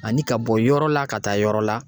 Ani ka bɔ yɔrɔ la, ka taa yɔrɔ la